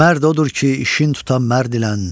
Mərd odur ki, işin tuta mərdilən.